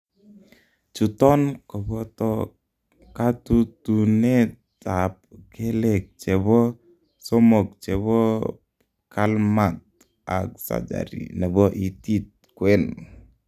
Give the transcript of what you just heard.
chuton koboto katutunet ab keleg chebo somog chebo pkalmat ag surgery chebo itit kwen